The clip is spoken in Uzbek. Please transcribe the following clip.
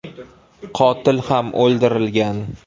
Qotil ham o‘ldirilgan.